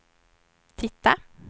titta